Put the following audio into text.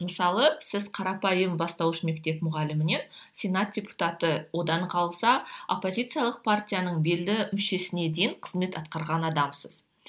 мысалы сіз қарапайым бастауыш мектеп мұғалімінен сенат депутаты одан қалса оппозициялық партияның белді мүшесіне дейін қызмет атқарған адамсыз